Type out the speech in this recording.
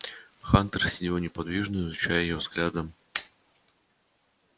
хантер сидел неподвижно изучая его взглядом